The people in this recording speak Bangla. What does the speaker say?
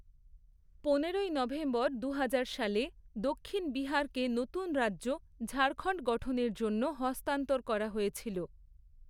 পনেরোই নভেম্বর দুহাজার সালে, দক্ষিণ বিহারকে নতুন রাজ্য ঝাড়খণ্ড গঠনের জন্য হস্তান্তর করা হয়েছিল।